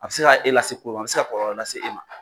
A bɛ se k'a e lase a bɛ ka kɔlɔlɔ lase e ma.